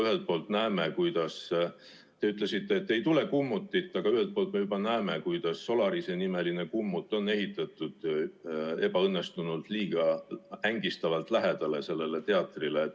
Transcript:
Te ütlesite, et ei tule kummutit, aga ühelt poolt me juba näeme, kuidas Solarise-nimeline kummut on ehitatud ebaõnnestunult, liiga ängistavalt lähedale sellele teatrile.